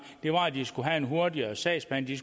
var at de skulle have en hurtigere sagsbehandling